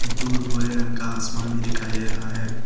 दूर भूरे रंग का आसमान भी दिखाई दे रहा है।